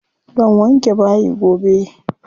Zan wanke bayi gobe.